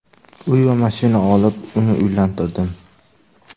Uy va mashina olib, uni uylantirdim.